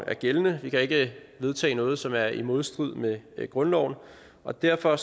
er gældende vi kan ikke vedtage noget som er i modstrid med grundloven og derfor